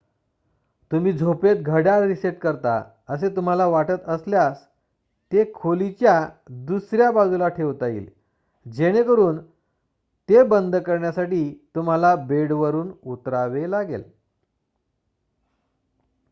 तुम्ही झोपेत घड्याळ रीसेट करता असे तुम्हाला वाटत असल्यास ते खोलीच्या दुसर्‍या बाजूला ठेवता येईल जेणेकरून ते बंद करण्यासाठी तुम्हाला बेडवरुन उतरावे लागेल